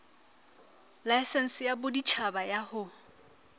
laesense ya boditjhaba ya ho